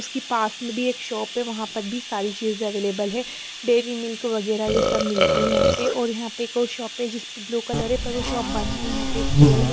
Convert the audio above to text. उसके पास में भी एक शॉप है वहां पर भी सारी चीज अवेलेबल है डेरी मिल्क वगैरह ये सब मिलती है यहां पे और यहां पे एक और शॉप है जिस ब्लू कलर है प शॉप बंद ह यहां पे एक पेड़ है।